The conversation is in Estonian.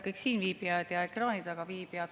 Kõik siinviibijad ja ekraani taga viibijad!